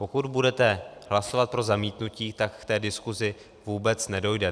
Pokud budete hlasovat pro zamítnutí, tak k té diskusi vůbec nedojde.